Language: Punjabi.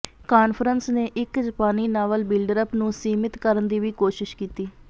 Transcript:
ਕਾਨਫਰੰਸ ਨੇ ਇਕ ਜਪਾਨੀ ਨਾਵਲ ਬਿਲਡਅੱਪ ਨੂੰ ਸੀਮਿਤ ਕਰਨ ਦੀ ਵੀ ਕੋਸ਼ਿਸ਼ ਕੀਤੀ